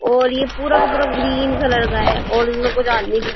और ये पूरा का पूरा ग्रीन कलर का है और इनमे कुछ आदमी दिख --